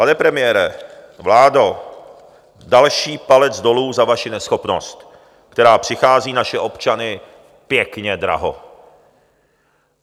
Pane premiére, vládo, další palec dolů za vaši neschopnost, která přichází naše občany pěkně draho.